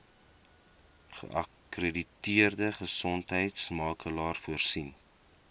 geakkrediteerde gesondheidsorgmakelaar voorsien